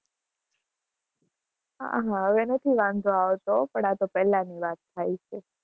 હા હા, હવે નથી વાંધો આવતો, પણ આતો પેલાની વાત થાય છે.